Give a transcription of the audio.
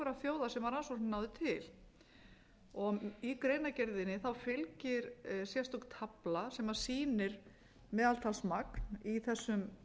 þjóða sem rannsóknin náði til í greinargerðinni fylgir sérstök tafla sem sýnir meðaltalsmagn í þessum